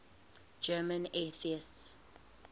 german atheists